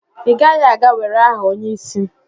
i gaghi-aga were aha onye-isi?